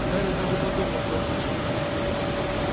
гарри даже подумал что ослышался